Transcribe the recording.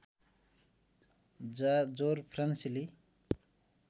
जाँ जोर फ्रान्सेली